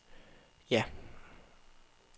ja